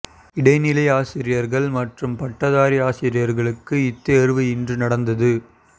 இடை நிலை ஆசிரியர்கள் மற்றும் பட்டதாரி ஆசிரியர்களுக்கு இத்தேர்வு இன்று நடந்தது